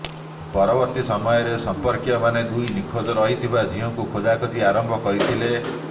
ପରବର୍ତ୍ତୀ ସମୟରେ ସମ୍ପର୍କୀୟମାନେ ଦୁଇ ନିଖୋଜ ରହିଥିବା ଝିଅଙ୍କ ଖୋଜାଖୋଜି ଆରମ୍ଭ କରିଥିଲେ